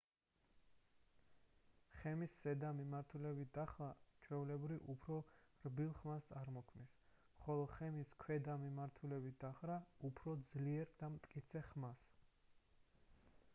ხემის ზედა მიმართულებით დახრა ჩვეულებრივ უფრო რბილ ხმას წარმოქმნის ხოლო ხემის ქვედა მიმართულებით დახრა უფრო ძლიერ და მტკიცე ხმას